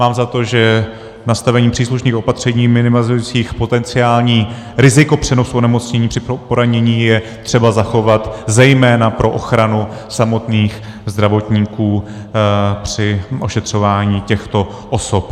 Mám za to, že nastavení příslušných opatření minimalizujících potenciální riziko přenosu onemocnění při poranění je třeba zachovat zejména pro ochranu samotných zdravotníků při ošetřování těchto osob.